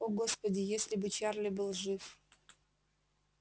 о господи если бы чарли был жив